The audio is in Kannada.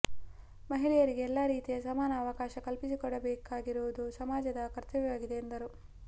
ಮಹಿಳೆಯರಿಗೆ ಎಲ್ಲ ರೀತಿಯ ಸಮಾನ ಅವಕಾಶ ಕಲ್ಪಿಸಿಕೊಡಬೇಕಾಗಿರುವುದು ಸಮಾಜದ ಕರ್ತವ್ಯವಾಗಿದೆ ಎಂದರು